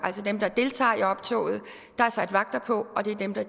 der deltager i optoget der er sat vagter på og det er dem der